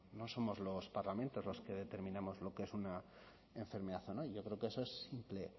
no somos los parlamentos los que determinamos lo que es una enfermedad o no y yo creo que eso es simple